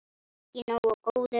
Ekki nógu góður!